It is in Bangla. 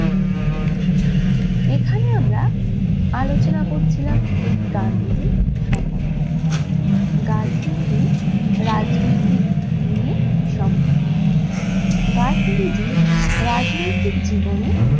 এখানে আমরা আলোচনা করছিলাম গান্ধীর সম্বন্ধে, গাধনিজি রাজনৈতিক নিয়ে সম্বন্ধে। গান্ধীজি রাজনৈতিক জীবনের